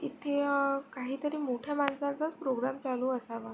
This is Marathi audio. इथे काहीतरी मोठ्या माणसांचाच प्रोग्राम चालू असावा.